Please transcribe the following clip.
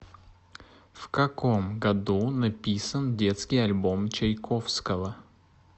в каком году написан детский альбом чайковского